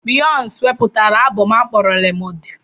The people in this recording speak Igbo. Biyonsi wepụtara abom akpọrọ 'Lemonade'.